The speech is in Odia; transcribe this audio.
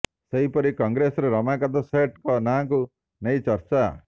ସେହିପରି କଂଗ୍ରେସରେ ରମାକାନ୍ତ ସେଠ୍ ଙ୍କ ନାଁକୁ ନେଇ ଚର୍ଚ୍ଚା